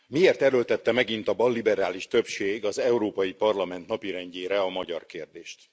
Miért erőltette megint a balliberális többség az Európai Parlament napirendjére a magyar kérdést?